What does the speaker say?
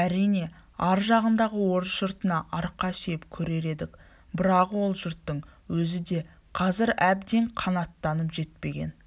әрине ар жағындағы орыс жұртына арқа сүйеп көрер едік бірақ ол жұрттың өзі де қазір әбден қанаттанып жетпеген